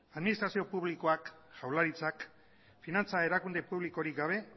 administrazio publikoak jaurlaritzak finantza erakunde publikorik gabe